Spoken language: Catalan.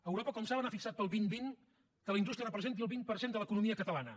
europa com saben ha fixat per al dos mil vint que la indústria representi el vint per cent de l’economia catalana